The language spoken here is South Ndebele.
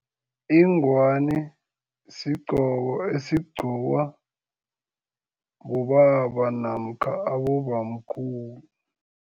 Ingwani sigqoko esigqcokwa bobaba namkha abobamkhulu.